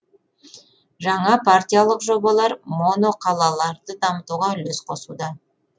жаңа партиялық жобалар моноқалаларды дамытуға үлес қосуда